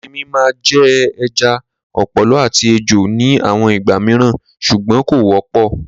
Erinmi máa jẹ ẹja, ọ̀pọ̀lọ́ àti ejò ní àwọn ìgbà mìíràn ṣùgbọ́n kò wọ́pọ̀.